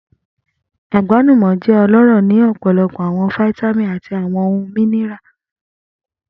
Agbalumo jẹ ọlọrọ ni ọpọlọpọ awọn fitamini ati awọn ohun míníràlì.